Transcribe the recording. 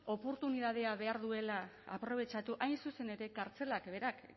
oportunitateak behar duela aprobetxatu hain zuzen ere kartzelak berak